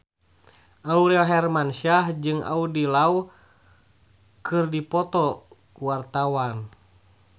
Aurel Hermansyah jeung Andy Lau keur dipoto ku wartawan